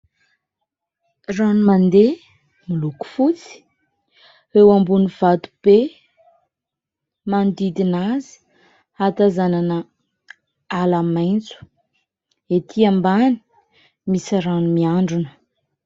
Rano mandeha miloko fotsy, eo ambony vato be ; manodidina azy ahatazanana ala maitso, etỳ ambany misy rano miandrona.